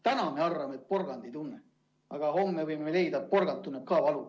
Täna me arvame, et porgand ei tunne, aga homme võime leida, et porgand tunneb ka valu.